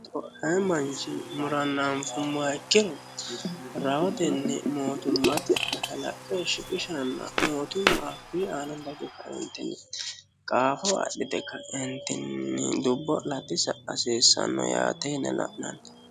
Ayii manchi murana anfummoha ikkiro rahotenni mootumate shiqishanna mootumma hakuyi aana qaafo adhite ka'entinni dubbo latisa hasiissano yaate yine la'nanni.